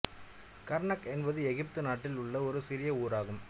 Karnak என்பது எகிப்து நாட்டில் உள்ள ஒரு சிறிய ஊர் ஆகும்